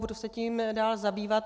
Budu se tím dále zabývat.